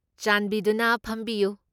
ꯆꯥꯟꯕꯤꯗꯨꯅ ꯐꯝꯕꯤꯌꯨ꯫